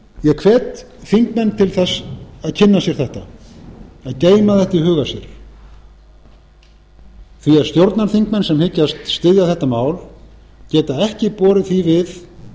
ég hvet þingmenn til að kynna sér þetta að geyma þetta í huga sér því stjórnarþingmenn sem hyggjast styðja þetta mál geta ekki borið því við